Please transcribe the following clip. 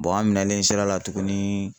an minɛlen sera la tugunni